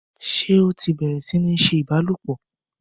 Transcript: Ṣé ó ti bẹ̀rẹ̀ sí ní ṣe ìbálòpọ̀?